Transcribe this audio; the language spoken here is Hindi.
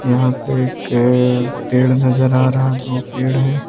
यहीं पे एक पेड़ नजर आ रहा है दो पेड़ हैं।